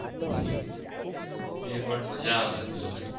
એ પણ મજા આવે એમ જોવની.